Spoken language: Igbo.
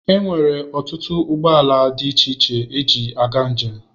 Enwere ọtụtụ ụgbọ ala dị iche iche eji aga njem.